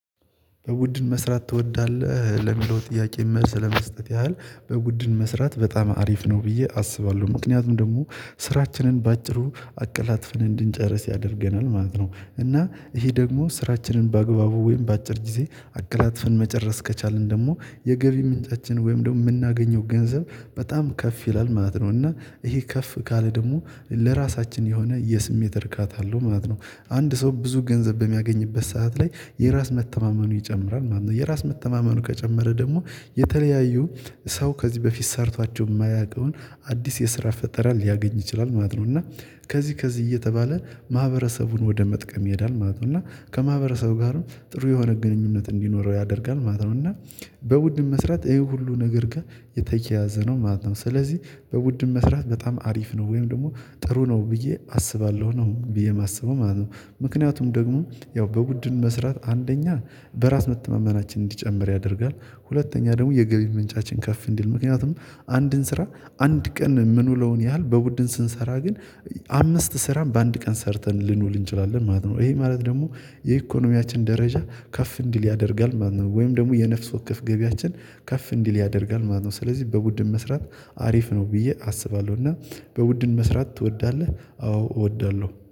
በቡድን መስራት ትወዳለህ? ለሚለው ጥያቄ መልስ ለመስጠት ያህል በቡድን መስራት በጣም አሪፍ ነው ብዬ አስባለሁ። ምክንያቱም ደግሞ ስራችንን በአጭሩ አቀላጥፈን እንድንጨርስ ያደርገናል ማለት ነው። እና ይሄ ደግሞ ስራችንን በአግባቡ ወይም በአጭር ጊዜ አቀላጥፈን መጨረስ ከቻልን ደግሞ የገቢ ምንጫችን ወይም ደግሞ የምናገኘው ገንዘብ በጣም ከፍ ይላል ማለት ነው። እና ይሄ ከፍ ካለ ደግሞ ለራሳችን የሆነ የስሜት እርካታ አለው ማለት ነው። አንድ ሰው ብዙ ገንዘብ በሚያገኝበት ሰዓት ላይ የራስ መተማመኑ ይጨምራል ማለት ነው። የራስ መተማመኑ ከጨመረ ደግሞ የተለያዩ ሰው ከዚህ በፊት ሰርቷቸው የማያውቀውን አዲስ የስራ ፈጠራ ሊያገኝ ይችላል ማለት ነው። እና ከዚህ ከዚህ እየተባለ ማህበረሰቡን ወደ መጥቀም ይሄዳል ማለት ነው። እና ከማህበረሰቡ ጋርም ጥሩ የሆነ ግንኙነት እንዲኖረው ያደርጋል ማለት ነው። እና በቡድን መስራት ይሄ ሁሉ ነገር ጋር የተያያዘ ነው ማለት ነው። ስለዚህ በቡድን መስራት በጣም አሪፍ ነው ወይም ደግሞ ጥሩ ነው ብዬ አስባለሁ ነው ብዬ የማስበው ማለት ነው። ምክንያቱም ደግሞ ያው በቡድን መስራት አንደኛ በራስ መተማመናችን እንዲጨምር ያደርጋል። ሁለተኛ ደግሞ የገቢ ምንጫችን ከፍ እንዲል፤ ምክንያቱም አንድን ስራ አንድ ቀን የምንውለውን ያህል በቡድን ስንሰራ ግን አምስት ስራን በአንድ ቀን ሰርተን ልንውል እንችላለን ማለት ነው። ይሄ ማለት ደግሞ የኢኮኖሚያችን ደረጃ ከፍ እንዲል ያደርጋል ማለት ነው። ወይም ደግሞ የነፍስ ወከፍ ገቢያችን ከፍ እንዲል ያደርጋል ማለት ነው። ስለዚህ በቡድን መስራት አሪፍ ነው ብዬ አስባለሁ እና በውድን መስራት ትወዳለህ? አዎ እወዳለሁ።